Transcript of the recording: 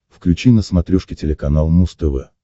включи на смотрешке телеканал муз тв